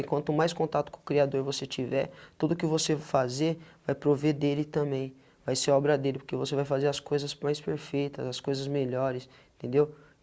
E quanto mais contato com o Criador você tiver, tudo o que você fazer vai prover dele também, vai ser obra dele porque você vai fazer as coisas mais perfeitas, as coisas melhores, entendeu?